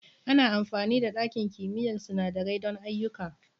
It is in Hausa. Ana amfani da ɗakin kimiyyar sinandarai don ayyuka.